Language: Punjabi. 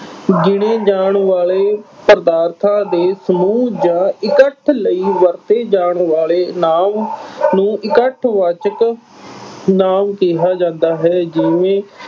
ਗਿਣੇ ਜਾਣ ਵਾਲੇ ਪਦਾਰਥਾਂ ਦੇ ਸਮੂਹ ਜਾਂ ਇਕੱਠ ਲਈ ਵਰਤੇ ਜਾਣ ਵਾਲੇ ਨਾਂਵ ਨੂੰ ਇਕੱਠਵਾਚਕ ਨਾਂਵ ਕਿਹਾ ਜਾਂਦਾ ਹੈ ਜਿਵੇਂ